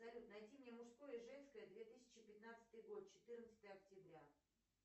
салют найди мне мужское и женское две тысячи пятнадцатый год четырнадцатое октября